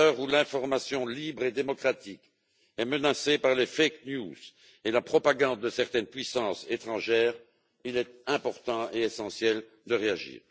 À l'heure où l'information libre et démocratique est menacée par les fake news et la propagande de certaines puissances étrangères, il est important et essentiel de réagir.